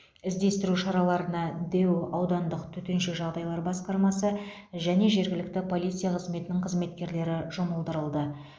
іздестіру шараларына дэу аудандық төтенше жағдайлар басқармасы және жергілікті полиция қызметінің қызметкерлері жұмылдырылды